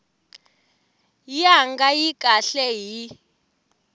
ya nga ri kahle hi